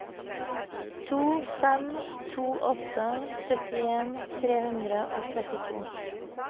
to fem to åtte syttien tre hundre og trettito